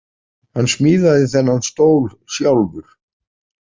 Hann smíðaði þennan stól sjálfur.